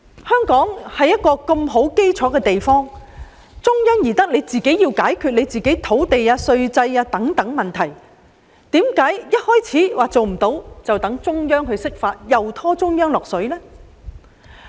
香港基礎穩固，中央巴不得我們自行解決土地和稅制問題，為何要急於提出若做不到便請中央釋法，再次把中央拖下水呢？